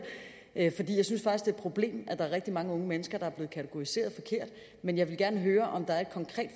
er et problem at der er rigtig mange unge mennesker der er blevet kategoriseret forkert men jeg vil gerne høre om der er et konkret